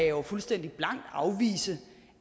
jo fuldstændig blankt afvise